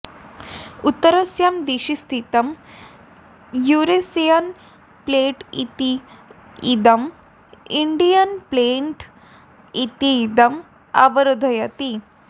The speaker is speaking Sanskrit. उत्तरस्यां दिशि स्थितं यूरेशियन् प्लेट् इति इदम् इण्डियन् प्लेट् इति इदम् अवरोधयति